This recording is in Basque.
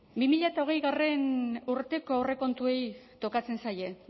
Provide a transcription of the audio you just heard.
bi mila hogeigarrena urteko aurrekontuei tokatzen zaie